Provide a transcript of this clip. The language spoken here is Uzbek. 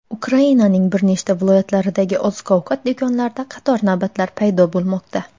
Ukrainaning bir necha viloyatlaridagi oziq-ovqat do‘konlarida qator navbatlar paydo bo‘lmoqda.